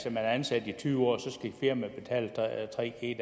ansat i tyve år skal firmaet betale tre g